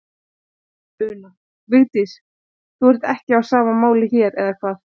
Una: Vigdís, þú ert ekki á sama máli hér, eða hvað?